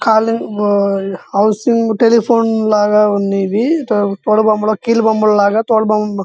calling bell housing telephone లాగా ఉంది ఇది తోలు బొమ్మలు కీలుబొమ్మలాగా తోలు బొమ్మ --